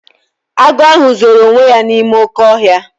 Agụ ahụ zoro onwe ya n'ime oké ọhịa.